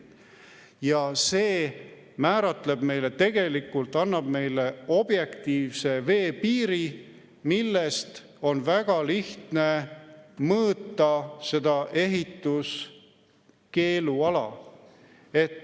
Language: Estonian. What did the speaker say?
Ja see määratleb tegelikult, annab meile objektiivse veepiiri, millest on väga lihtne mõõta ehituskeeluala.